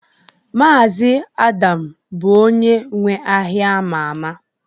Mazi Adam bụ onye nwe ahịa ama ama